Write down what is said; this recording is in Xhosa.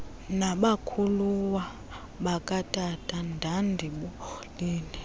nabakhuluwa bakatata ndandibolile